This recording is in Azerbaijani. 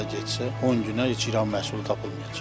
Belə getsə 10 günə heç İran məhsulu tapılmayacaq.